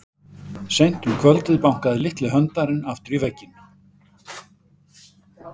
Seint um kvöldið bankaði litli höndlarinn aftur í vegginn.